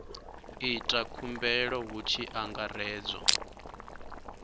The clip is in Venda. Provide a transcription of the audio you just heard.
ita khumbelo hu tshi angaredzwa